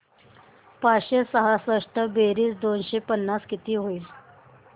पाचशे सहासष्ट बेरीज दोनशे पन्नास किती होईल